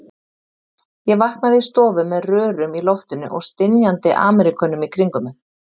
Ég vaknaði í stofu með rörum í loftinu og stynjandi Ameríkönum í kringum mig.